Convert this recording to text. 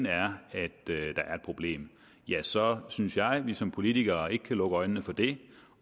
er et problem så synes jeg at vi som politikere ikke kan lukke øjnene for det